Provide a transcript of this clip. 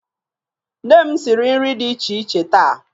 Nne m siri nri dị iche iche taa.